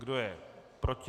Kdo je proti?